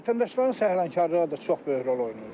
Vətəndaşların səhlənkarlığı da çox böyük rol oynayır.